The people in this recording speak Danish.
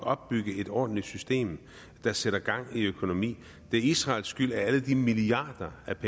opbygge et ordentligt system der sætter gang i økonomien det er israels skyld at alle de milliarder af